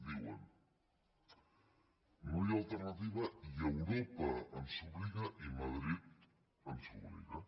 diuen no hi ha alternativa i europa ens obliga i madrid ens obliga